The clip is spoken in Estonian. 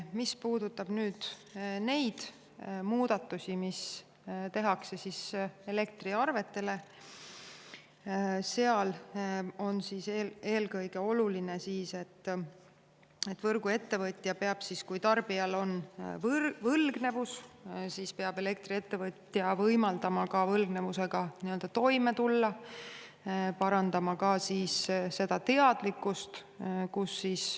Mis puudutab neid muudatusi, mis tehakse elektriarvetele, siis seal on eelkõige oluline, et võrguettevõtja peab siis, kui tarbijal on võlgnevus, võimaldama võlgnevusega toime tulla ja parandama ka seda teadlikkust.